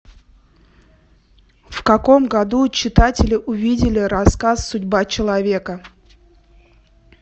в каком году читатели увидели рассказ судьба человека